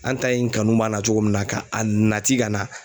An ta in kanu b'a la cogo min na ka a nati ka na